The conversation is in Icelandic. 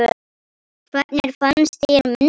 Hvernig fannst þér myndin?